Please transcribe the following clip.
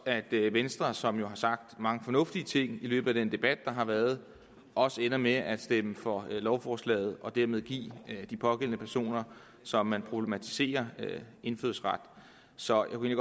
at venstre som jo har sagt mange fornuftige ting i løbet af den debat der har været også ender med at stemme for lovforslaget og dermed give de pågældende personer som man problematiserer indfødsret så jeg